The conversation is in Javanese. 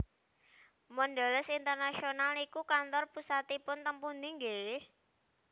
Mondelez International niku kantor pusatipun teng pundi nggeh?